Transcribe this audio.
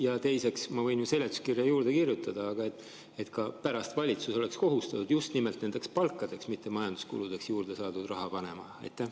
Ja teiseks, ma võin ju seletuskirja juurde kirjutada, aga, et ka pärast valitsus oleks kohustatud just nimelt palkadeks, mitte majanduskuludeks juurde saadud raha panema?